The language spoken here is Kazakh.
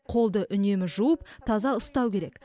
қолды үнемі жуып таза ұстау керек